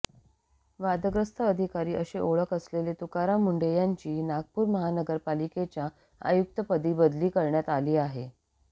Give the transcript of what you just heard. वादग्रस्त अधिकारी अशी ओळख असलेले तुकाराम मुंढे यांची नागपूर महानगरपालिकेच्या आयुक्तपदी बदली करण्यात आली आहे